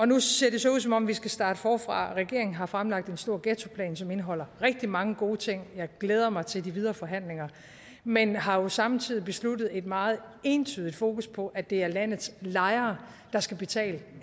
nu ser det så ud som om vi skal starte forfra regeringen har fremlagt en stor ghettoplan som indeholder rigtig mange gode ting og jeg glæder mig til de videre forhandlinger men man har samtidig besluttet et meget ensidigt fokus på at det er landets lejere der skal betale